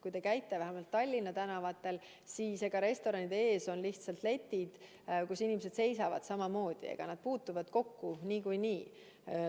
Kui te käite Tallinna tänavatel, siis restoranide ees on lihtsalt letid, kus inimesed seisavad samamoodi, nad puutuvad kokku niikuinii.